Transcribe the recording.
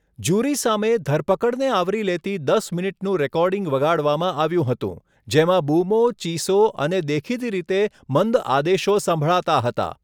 Jury સામે ધરપકડને આવરી લેતી દસ મિનિટનું રેકોર્ડિંગ વગાડવામાં આવ્યું હતું જેમાં બૂમો, ચીસો અને દેખીતી રીતે મંદ આદેશો સંભળાતા હતા.